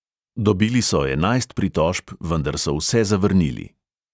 Dobili so enajst pritožb, vendar so vse zavrnili.